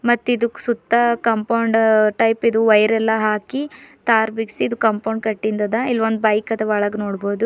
ಮತ್ ಇದಕ ಸುತ್ತ ಕಾಂಪೌಂಡ್ ಟೈಪ್ ಇದು ವಯರ ಎಲ್ಲಾ ಹಾಕಿ ತಾರ ಬೀಗಸಿದ್ದ ಕಾಂಪೌಂಡ್ ಕಟ್ಟಿಂದ್ ಅದ ಇಲ್ಲ ಒಂದ ಬೈಕ್ ಅದ ಒಳಗ ನೋಡ್ಬೊದು.